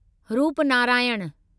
Rupnarayan